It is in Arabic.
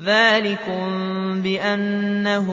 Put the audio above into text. ذَٰلِكُم بِأَنَّهُ